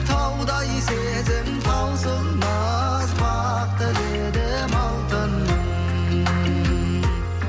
таудай сезім таусылмас бақ тіледім алтыным